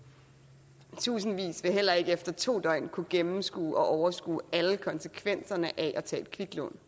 tusindvis vil heller ikke efter to døgn kunne gennemskue og overskue alle konsekvenserne af at tage et kviklån